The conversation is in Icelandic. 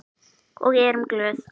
Og erum glöð.